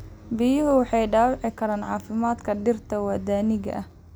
Biyuhu waxay dhaawici karaan caafimaadka dhirta waddaniga ah.